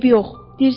Eybi yox.